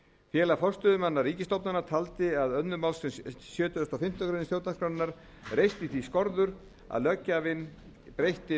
félag forstöðumanna ríkisstofnana taldi að annarri málsgrein sjötugustu og fimmtu grein stjórnarskrár reisti því skorður að löggjafinn breytti